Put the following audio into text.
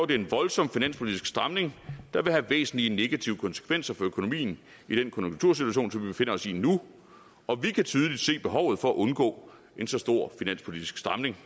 det en voldsom finanspolitisk stramning der vil have væsentlige negative konsekvenser for økonomien i den konjunktursituation som vi befinder os i nu og vi kan tydeligt se behovet for at undgå en så stor finanspolitisk stramning